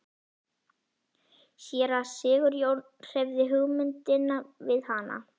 Séra Sigurjón hreyfði hugmyndinni við hana.